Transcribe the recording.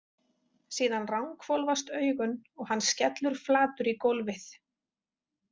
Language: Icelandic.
Síðan ranghvolfast augun og hann skellur flatur í gólfið.